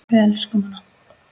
Við elskum hana.